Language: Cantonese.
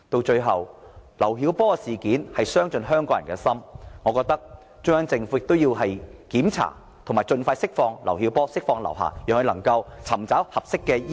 最後，劉曉波事件傷盡香港人的心，我覺得中央政府應該盡快釋放劉曉波和劉霞，讓劉曉波能夠接受合適的醫療......